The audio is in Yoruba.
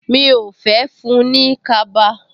Mi ò fẹ́ fún-un ní kaba